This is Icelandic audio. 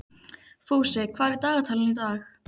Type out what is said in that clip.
Fúsi, hvað er í dagatalinu í dag?